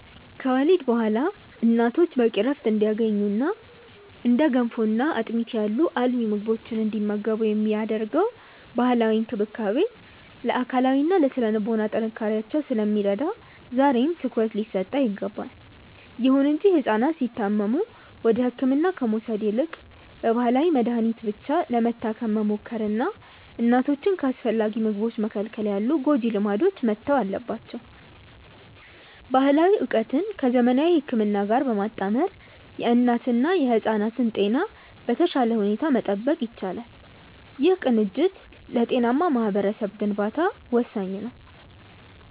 ከወሊድ በኋላ እናቶች በቂ ዕረፍት እንዲያገኙና እንደ ገንፎና አጥሚት ያሉ አልሚ ምግቦችን እንዲመገቡ የሚደረገው ባህላዊ እንክብካቤ ለአካላዊና ለሥነ-ልቦና ጥንካሬያቸው ስለሚረዳ ዛሬም ትኩረት ሊሰጠው ይገባል። ይሁን እንጂ ሕፃናት ሲታመሙ ወደ ሕክምና ከመውሰድ ይልቅ በባህላዊ መድኃኒት ብቻ ለመታከም መሞከርና እናቶችን ከአስፈላጊ ምግቦች መከልከል ያሉ ጎጂ ልማዶች መተው አለባቸው። ባህላዊ ዕውቀትን ከዘመናዊ ሕክምና ጋር በማጣመር የእናትና የሕፃናትን ጤና በተሻለ ሁኔታ መጠበቅ ይቻላል። ይህ ቅንጅት ለጤናማ ማኅበረሰብ ግንባታ ወሳኝ ነው።